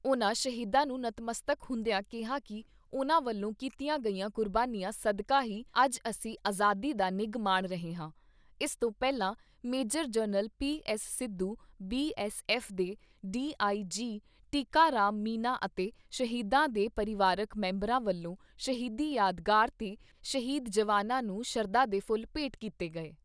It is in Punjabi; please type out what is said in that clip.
ਉਨ੍ਹਾਂ ਸ਼ਹੀਦਾਂ ਨੂੰ ਨਤਮਸਤਕ ਹੁੰਦਿਆਂ ਕਿਹਾ ਕਿ ਉਨ੍ਹਾਂ ਵੱਲੋਂ ਕੀਤੀਆਂ ਗਈਆਂ ਕੁਰਬਾਨੀਆਂ ਸਦਕਾ ਹੀ ਅੱਜ ਅਸੀਂ ਆਜ਼ਾਦੀ ਦਾ ਨਿੱਘ ਮਾਣ ਰਹੇ ਹਾਂ। ਇਸ ਤੋ ਪਹਿਲਾ major general PS Sidhu, BSF ਦੇ ਡੀਆਈਜੀ ਟਿੱਕਾ ਰਾਮ ਮੀਨਾ ਅਤੇ ਸ਼ਹੀਦਾਂ ਦੇ ਪਰਿਵਾਰਕ ਮੈਂਬਰਾਂ ਵੱਲੋਂ ਸ਼ਹੀਦੀ ਯਾਦਗਾਰ 'ਤੇ ਸ਼ਹੀਦ ਜਵਾਨਾਂ ਨੂੰ ਸ਼ਰਧਾ ਦੇ ਫੁੱਲ ਭੇਂਟ ਕੀਤੇ ਗਏ।